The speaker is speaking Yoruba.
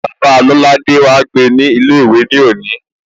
Bàbáa Lolade wá gbe ní ilé ìwé ní òní